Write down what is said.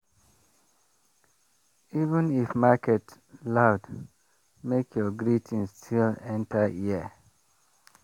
even if market loud make your greeting still enter ear.